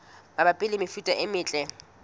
mabapi le mefuta e metle